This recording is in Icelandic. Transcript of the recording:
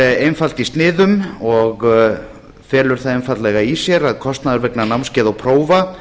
er einfalt í sniðum og felur það einfaldlega í sér að kostnaður vegna námskeiða og prófa